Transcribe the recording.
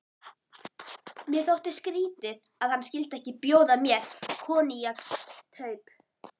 Mér þótti skrýtið, að hann skyldi ekki bjóða mér koníaksstaup.